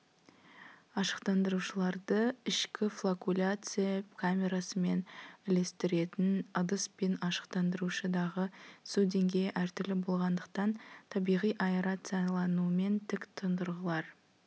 ашықтандырушыларды ішкі флокуляция камерасымен үлестіретін ыдыс пен ашықтандырушыдағы су деңгейі әртүрлі болғандықтан табиғи аэрацияланумен тік тұндырғылар